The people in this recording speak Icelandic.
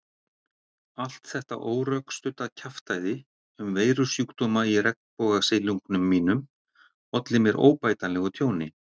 Allt þetta órökstudda kjaftæði um veirusjúkdóma í regnbogasilungnum mínum olli mér óbætanlegu tjóni.